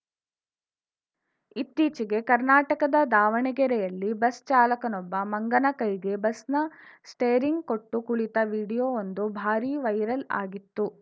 ಇತ್ತೀಚೆಗೆ ಕರ್ನಾಟಕದ ದಾವಣಗೆರೆಯಲ್ಲಿ ಬಸ್‌ಚಾಲಕನೊಬ್ಬ ಮಂಗನ ಕೈಗೆ ಬಸ್‌ನ ಸ್ಟೇರಿಂಗ್‌ ಕೊಟ್ಟು ಕುಳಿತ ವಿಡಿಯೋವೊಂದು ಭಾರೀ ವೈರಲ್‌ ಆಗಿತ್ತು